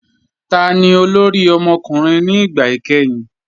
Táni olórí ọmọkùnrin ni ìgbà ikẹ̀hìn?